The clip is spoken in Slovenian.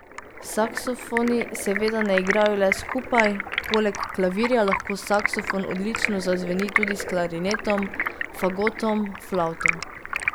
Saksofoni seveda ne igrajo le skupaj, poleg klavirja lahko saksofon odlično zazveni tudi s klarinetom, fagotom, flavto.